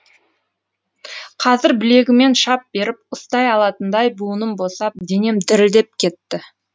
қазір білегімен шап беріп ұстай алатындай буыным босап денем дірілдеп кетті